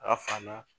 A fa na